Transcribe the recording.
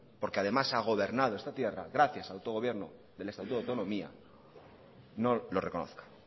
porque además ha gobernado esta tierra gracias al autogobierno del estatuto de autonomía no lo reconozca